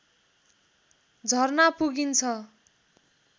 झरना पुगिन्छ